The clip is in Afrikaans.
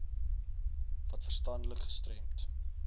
wat verstandelik gestremd